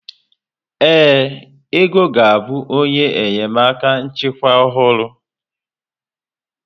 Ee, Ego ga-abụ onye enyemaka nchịkwa ọhụrụ.